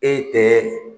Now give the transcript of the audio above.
E tɛ